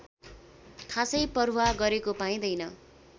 खासै परवाह गरेको पाइँदैन